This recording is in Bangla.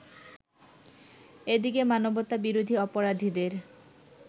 এদিকে মানবতাবিরোধী অপরাধীদের